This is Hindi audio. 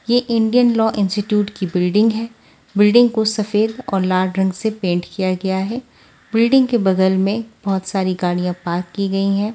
यह इंडियन लॉ इंस्टीट्यूट की बिल्डिंग है बिल्डिंग को सफेद और लाल रंग से पेंट किया गया है बिल्डिंग के बगल में बहुत सारी गाड़ियां पार्क की गई हैं।